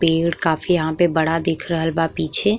पेड़ काफी यहाँ पे बड़ा दिख रहल बा पीछे।